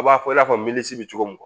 A b'a fɔ i n'a fɔ milisi be cogo min